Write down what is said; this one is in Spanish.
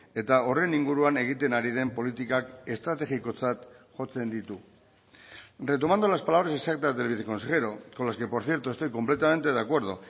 eta horren inguruan egiten ari den politikak estrategikotzat jotzen ditu retomando las palabras exactas del viceconsejero con las que por cierto estoy completamente de acuerdo